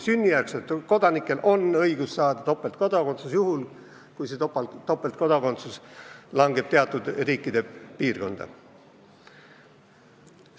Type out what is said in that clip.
Sünnijärgsetel kodanikel on õigus saada topeltkodakondsus juhul, kui tegu on teatud riikidega.